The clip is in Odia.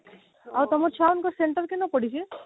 ଆଉ ତମର ଛୁଆ ମାନଙ୍କର center କେନ ପଡିଛି